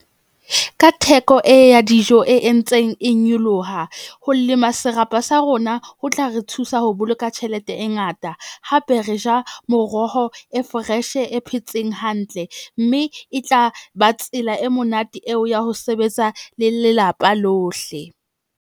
Ka theko e ya dijo e entseng e nyoloha ho lema serapa sa rona, ho tla re thusa ho boloka tjhelete e ngata. Hape re ja moroho e fresh-e phetseng hantle mme e tla ba tsela e monate eo ya ho sebetsa le lelapa lohle.